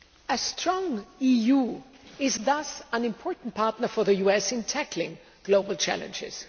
A strong EU is thus an important partner for the US in tackling global challenges.